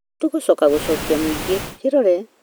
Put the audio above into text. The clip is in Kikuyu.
Nĩ tũgũcoka gũcokia mũingĩ kĩrore